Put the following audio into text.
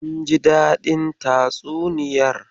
Kin ji dadin tatsuniyar.